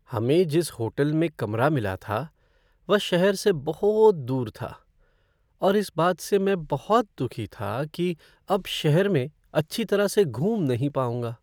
हमें जिस होटल में कमरा मिला था वह शहर से बहुत दूर था और इस बात से मैं बहुत दुखी था कि अब शहर में अच्छी तरह से घूम नहीं पाऊँगा।